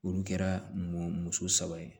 Olu kɛra mun muso saba ye